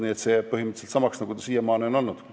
Nii et see jääb põhimõtteliselt samaks, nagu ta siiamaani on olnud.